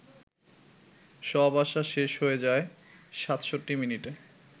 সব আশা শেষ হয়ে যায় ৬৭ মিনিটে